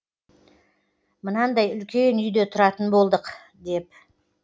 мынандай үлкен үйде тұратын болдық деп